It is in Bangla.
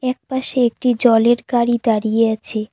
এক পাশে একটি জলের গাড়ি দাঁড়িয়ে আছে।